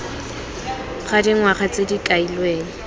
ga dingwaga tse di kailweng